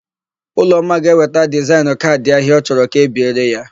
Ụlọma ga-eweta dizaịnụ kaadị ahia ọ chọrọ ka e biere ya echi.